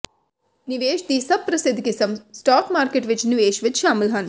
ਨਿਵੇਸ਼ ਦੀ ਸਭ ਪ੍ਰਸਿੱਧ ਕਿਸਮ ਸਟਾਕ ਮਾਰਕੀਟ ਵਿਚ ਨਿਵੇਸ਼ ਵਿੱਚ ਸ਼ਾਮਲ ਹਨ